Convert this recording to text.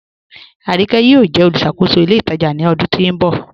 Aríńkè yọọ̀ jẹ olúṣàkòsó ilẹ̀ itajà ni ọdún tó nbọ